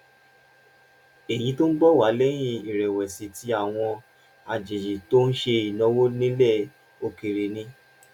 èyí ń bọ̀ wá lẹ́yìn ìrẹ̀wẹ̀sì tí àwọn àjèjì tó ń ṣe ìnáwó nílẹ̀ òkèèrè ní